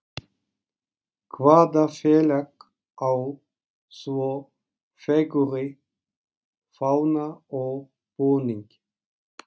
Hvaða félag á svo fegurri fána og búning?